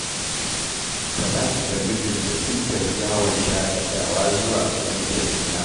Talatu da mijinta sun tafi yawon shaƙatawa zuwa garin Kaduna